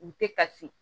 U tɛ ka se